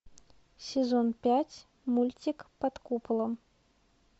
сезон пять мультик под куполом